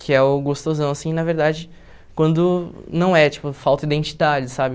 Que é o gostosão, assim, na verdade, quando não é, tipo, falta identidade, sabe?